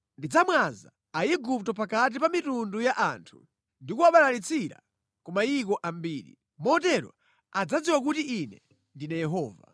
Ndidzamwaza Aigupto pakati pa mitundu ya anthu, ndikuwabalalitsira ku mayiko ambiri. Motero adzadziwa kuti Ine ndine Yehova.”